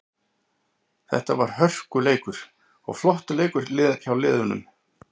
Þetta var hörkuleikur og flottur leikur hjá liðinu.